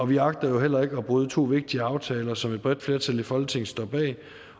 vi agter heller ikke at bryde to vigtige aftaler som et bredt flertal i folketinget står bag